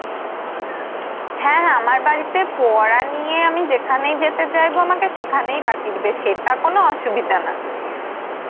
হ্যাঁ হ্যাঁ আমার বাড়িতে পড়া নিয়ে আমি যেখানেই যেতে চাইবো না তো সেখানেই পাঠিয়ে দিবে, সেটা কোন অসুবিধা না.